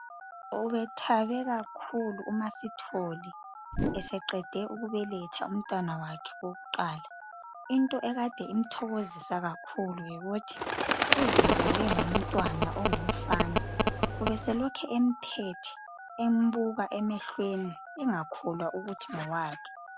Ube thabe kakhulu umaSithole eseqede ukubeletha umntwana wakhe wokuqala into ekade imthokozisa kakhulu yikuthi uzibule ngomntwana ongumfana ubeselokhe emphethe embuka emehlweni engakholwa ukuthi ngowakhe.